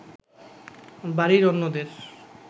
বাড়ির অন্যদের